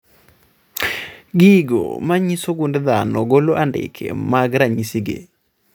Gigo manyiso gund dhano golo andike mag ranyisi gi